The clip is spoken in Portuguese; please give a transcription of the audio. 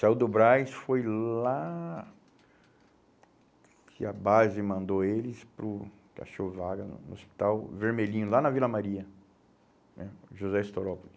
Saiu do Braz, foi lá que a base mandou eles para o Cachovaga, no hospital Vermelhinho, lá na Vila Maria né, José Estorópolis.